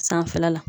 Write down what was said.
Sanfɛla la